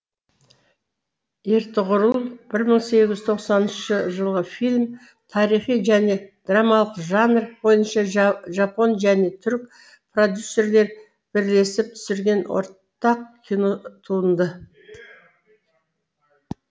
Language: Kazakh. ертұғырыл бір мың сегіз жүз тоқсаныншы фильмі тарихи және драмалық жанр бойынша жапон және түрік продюссерлер бірлесіп түсірген ортақ кино туынды